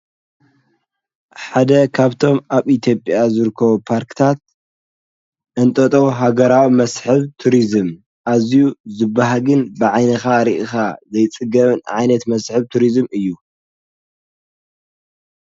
ሓደ ኻብቶም ኣብ ኢትዮጵያ ዝርከቡ ፓርክታት እንጠጦ ሃገራዊ መስሕብ ቱርዝም ኣዝዩ ዝበሃግን ብዓይንኻ ርእኻ ዘይጽገብን ዓይነት መስሕብ ቱርዝም እዩ።